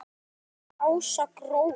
Þín systir Ása Gróa.